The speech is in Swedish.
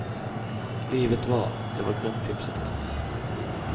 Livet va, det var grundtipset.